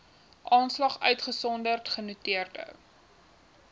aanslag uitgesonderd genoteerde